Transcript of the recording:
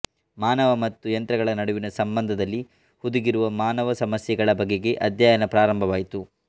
ಮಾನವ ಮತ್ತು ಯಂತ್ರಗಳ ನಡುವಿನ ಸಂಬಂಧದಲ್ಲಿ ಹುದುಗಿರುವ ಮಾನವ ಸಮಸ್ಯೆಗಳ ಬಗೆಗೆ ಅಧ್ಯಯನ ಪ್ರಾರಂಭವಾಯಿತು